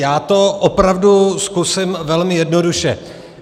Já to opravdu zkusím velmi jednoduše.